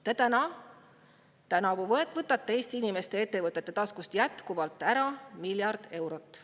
Te võtate tänavu Eesti inimeste ja ettevõtete taskust jätkuvalt ära miljard eurot.